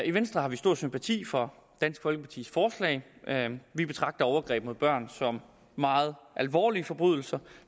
i venstre har vi stor sympati for dansk folkepartis forslag vi betragter overgreb mod børn som meget alvorlige forbrydelser